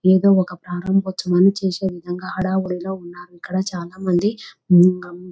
ఏదో ఒక ప్రారంభోత్సవాన్ని చేసే విధంగా హడావిడి గా ఉన్నారు ఇక్కడ చాలామంది --